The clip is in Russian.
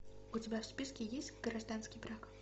у тебя в списке есть гражданский брак